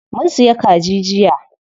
Mun siya kaji jiya.